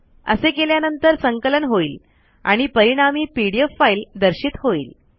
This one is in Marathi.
असे केल्यानंतर संकलन होईल आणि परिणामी पीडीएफ फाइल दर्शित होईल